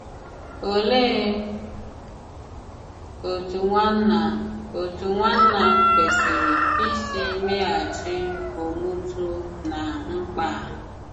Olee òtù nwànnà òtù nwànnà kwesìrè ìsì mèghàchì òmùtù ná mmkpa à?